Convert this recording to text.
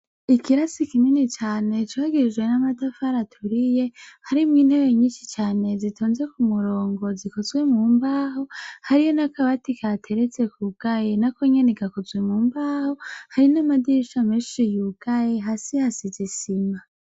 Ikirasi kinini cane cubakishijwe n'amatafari aturiye, harimwo intebe nyinshi cane zitonze k'umurongo zikozwe mu mbaho, hari n'akabati kahateretse kugaye nakonyene gakozwe mu mbaho, hari n'amadirisha menshi yugaye, hasi hasize isima.